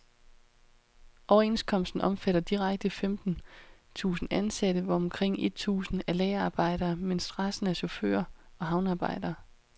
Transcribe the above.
Overenskomsten omfatter direkte femten tusind ansatte, hvor omkring et tusind er lagerarbejdere, mens resten er chauffører og havnearbejdere.